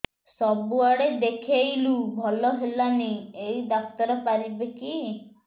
ସବୁଆଡେ ଦେଖେଇଲୁ ଭଲ ହେଲାନି ଏଇ ଡ଼ାକ୍ତର ପାରିବେ କି